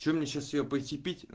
что мне сейчас её пойти пить